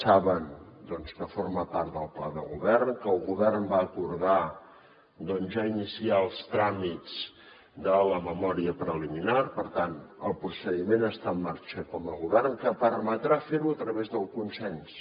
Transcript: saben que forma part del pla de govern que el govern va acordar ja iniciar els tràmits de la memòria preliminar per tant el procediment està en marxa com a govern que permetrà ferho a través del consens